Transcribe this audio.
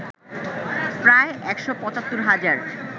প্রায় ১৭৫ হাজার